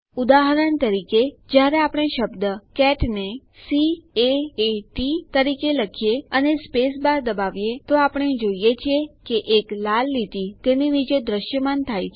ઉદાહરણ તરીકે જયારે આપણે શબ્દ કેટ ને સી A એ T તરીકે લખીએ અને સ્પેસ બાર દબાવીએ છીએ તો આપણે જોઈએ છીએ કે એક લાલ લીટી તેની નીચે દ્રશ્યમાન થાય છે